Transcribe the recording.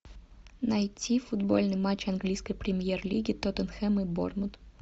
найти футбольный матч английской премьер лиги тоттенхэм и борнмут